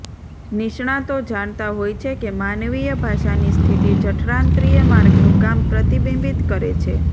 નિષ્ણાતો જાણતા હોય છે કે માનવીય ભાષાની સ્થિતિ જઠરાંત્રિય માર્ગનું કામ પ્રતિબિંબિત કરે છે